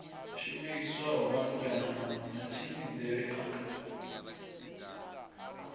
shumiswaho malugana na matshimbidzele a